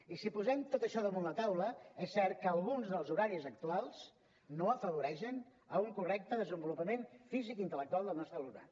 i si posem tot això damunt la taula és cert que alguns dels horaris actuals no afavoreixen un correcte desenvolupament físic i intel·lectual del nostre alumnat